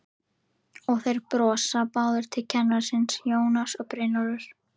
Og þeir brosa báðir til kennara síns, Jónas og Brynjólfur.